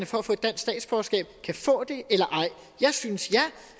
for at få dansk statsborgerskab kan få det eller ej jeg synes ja